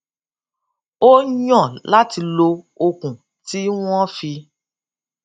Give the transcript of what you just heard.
ó yàn láti lo okùn tí wọn fi